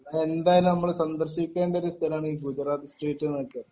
എന്തായാലും നമ്മൾ സന്ദർശിക്കേണ്ട ഒരു സ്ഥലമാണ് ഈ ഗുജറാത്തി സ്ട്രീറ്റിനൊക്കെ